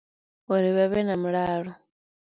Uri vha vhe na mulalo.